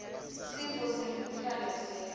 sifo semkhuhlane siyalapheka